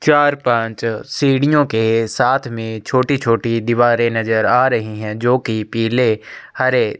चार पाँच सीढ़ीओ के साथ में छोटी-छोटी दीवारे नज़र आ रही है जो की पिले हरे --